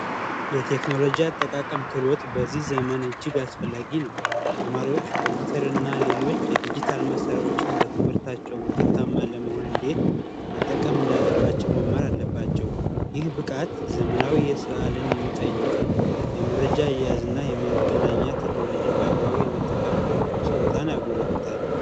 የቴክኖሎጂ አጠቃቀም ክህሎት በዚህ ዘመን እጅግ አስፈላጊ ነው። ተማሪዎች ኮምፒውተር እና ሌሎች የዲጅታል መሳሪያዎች በትምህርታቸው ውጤታማ ለመሆን እንዴት መጠቀም እንዳለባቸው መማር አለባቸው። ይህ ብቃት ዘመናዊ የስራ አለምን የሚጠይቅን የመረጃ አያያዝ እና የመገናኛ ቴክኖሎጂን በአግባቡ የመጠቀም ችሎታን ያጎለብታል።